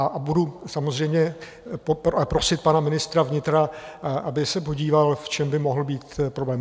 A budu samozřejmě prosit pana ministra vnitra, aby se podíval, v čem by mohl být problém.